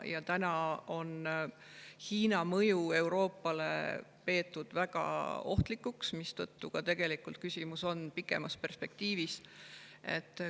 Hiina mõju Euroopale on peetud väga ohtlikuks, mistõttu küsimus on ka pikemas perspektiivis.